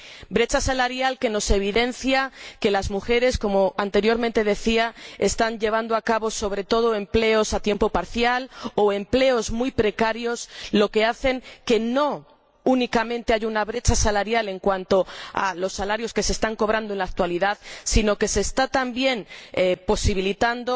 Brecha salarial que nos evidencia que las mujeres, como anteriormente decía, están llevando a cabo sobre todo empleos a tiempo parcial o empleos muy precarios, lo que hace que no haya únicamente una brecha salarial en cuanto a los salarios que se están cobrando en la actualidad, sino que se está también posibilitando